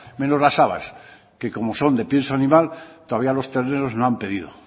menos las habas que como son de pienso animal todavía los terneros no han pedido